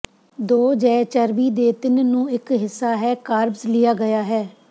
ਦੋ ਜ ਚਰਬੀ ਦੇ ਤਿੰਨ ਨੂੰ ਇੱਕ ਹਿੱਸਾ ਹੈ ਕਾਰਬਸ ਲਿਆ ਗਿਆ ਹੈ